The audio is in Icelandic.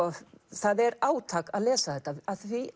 það er átak að lesa þetta af því